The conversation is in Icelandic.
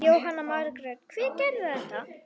Jóhanna Margrét: Hver gerði þetta?